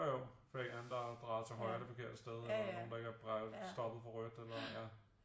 Jo jo fordi der en eller anden der har drejet til højre det forkerte sted og nogle der ikke har drejet stoppet for rødt eller ja